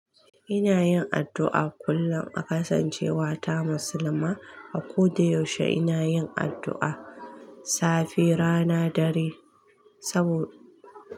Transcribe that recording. Ina yin addu'a kullum, a kasancewa ta musulma. A ko da yaushe ina yin addu'a, safe, rana, dare sabo-